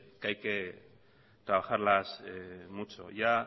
que hay que trabajarlas mucho ya